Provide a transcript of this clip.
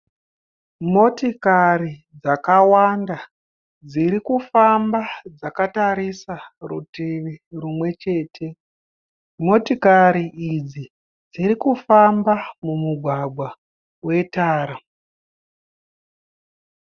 Motikari dzakawanda dziri kufamba dzakatarisa rutivi rumwe chete. Motikari idzi dziri kufamba mumugwagwa wetara.